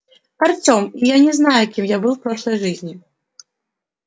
артем и я не знаю кем я был в прошлой жизни